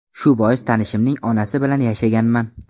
Shu bois tanishimning onasi bilan yashaganman.